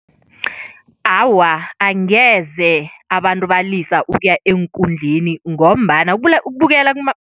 Awa, angeze abantu balisa ukuya eenkundleni ngombana ukubukela